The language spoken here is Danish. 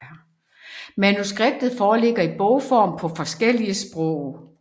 Manuskriptet foreligger i bogform på forskellige sprog